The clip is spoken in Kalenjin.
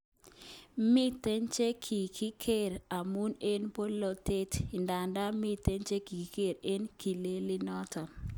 Miten chekikiger amun eng bolotet idadan miten chekikiker eng ikelelnotet